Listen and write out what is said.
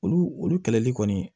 Olu olu kɛlɛli kɔni